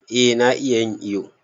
Eh na iya yin iyo.